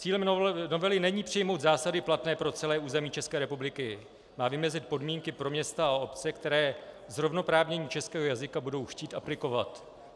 Cílem novely není přijmout zásady platné pro celé území České republiky, má vymezit podmínky pro města a obce, které zrovnoprávnění českého jazyka budou chtít aplikovat.